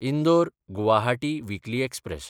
इंदोर–गुवाहाटी weekly express